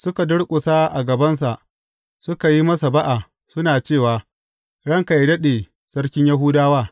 Suka durƙusa a gabansa, suka yi masa ba’a, suna cewa, Ranka yă daɗe sarkin Yahudawa!